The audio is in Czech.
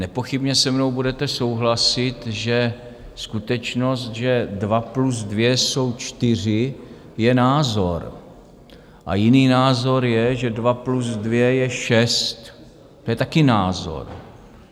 Nepochybně se mnou budete souhlasit, že skutečnost, že dva plus dva jsou čtyři, je názor a jiný názor je, že dva plus dva je šest, to je taky názor.